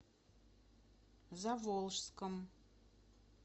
заволжском